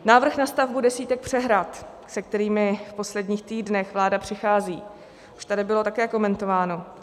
Návrh na stavbu desítek přehrad, se kterými v posledních týdnech vláda přichází, už tady bylo také komentován.